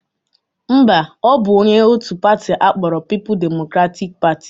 Mba, ọ bụ onye otu pati akpọrọ People Democratic Party